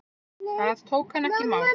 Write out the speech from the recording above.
Það tók hann ekki í mál.